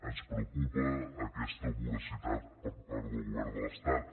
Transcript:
ens preocupa aquesta voracitat per part del govern de l’estat